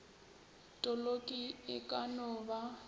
toloki e ka no ba